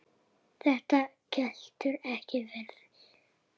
Þetta getur ekki verið.